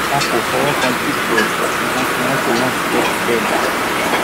wọn kò fọwọ kan jíìpù ẹ wọn fi mọtò náà sílẹ síbẹ ni